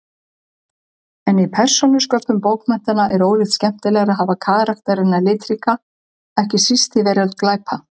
En í persónusköpun bókmenntanna er ólíkt skemmtilegra að hafa karakterana litríka, ekki síst í veröld glæpa.